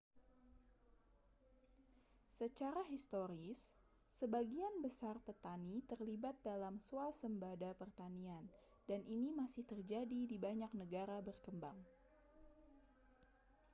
secara historis sebagian besar petani terlibat dalam swasembada pertanian dan ini masih terjadi di banyak negara berkembang